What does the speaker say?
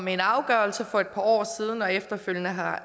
med en afgørelse for et par år siden og efterfølgende har